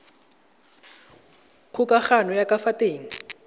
kgokagano ya ka fa teng